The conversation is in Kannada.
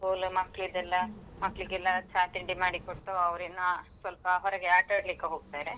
School ಮಕ್ಲಿದೆಲ್ಲಾ ಮಕ್ಲಿಗೆಲ್ಲಾ ಚಾ ತಿಂಡಿಮಾಡಿಕೊಟ್ಟು ಅವ್ರು ಇನ್ನ ಸ್ವಲ್ಪ ಹೊರಗೆ ಆಟಆಡ್ಲಿಕ್ಕೆ ಹೋಗ್ತಾರೆ.